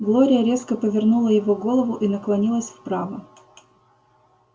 глория резко повернула его голову и наклонилась вправо